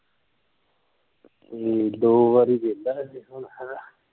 ਹੂ ਦੋ ਵਾਰੀ ਵਹਿੰਦਾ ਕੇ ਕੌਣ ਹੈਗਾ